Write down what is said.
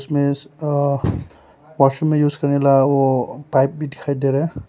अ washroom में use करने वाला वो पाइप भी दिखाई दे रहा--